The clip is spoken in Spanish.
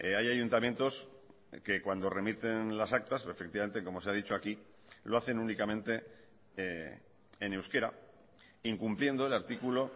hay ayuntamientos que cuando remiten las actas efectivamente como se ha dicho aquí lo hacen únicamente en euskera incumpliendo el artículo